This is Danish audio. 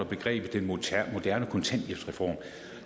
begrebet den moderne kontanthjælpsreform